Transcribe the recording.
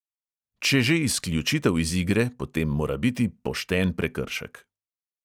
Če že izključitev iz igre, potem mora biti "pošten" prekršek.